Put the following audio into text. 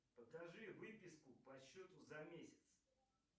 покажи выписку по счету за месяц